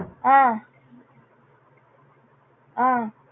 ஆஹ் ஆஹ்